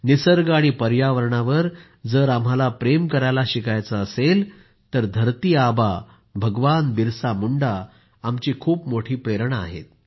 निसर्ग आणि पर्यावरणावर जर आम्हाला प्रेम करायला शिकायचं असेल तर धरती आबा भगवान बिरसा मुंडा आमची खूप मोठी प्रेरणा आहे